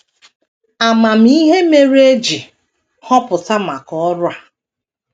Ama m ihe mere e ji họpụta maka ọrụ a.